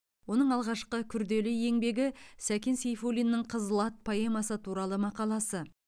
оның алғашқы күрделі еңбегі сәкен сейфуллиннің қызыл ат поэмасы туралы мақаласы